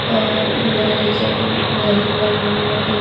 अअलोहे के रेलिंग बने हुए हैं।